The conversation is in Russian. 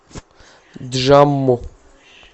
джамму